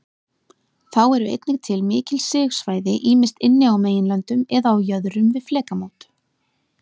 Þá eru einnig til mikil sigsvæði, ýmist inni á meginlöndum eða á jöðrum við flekamót.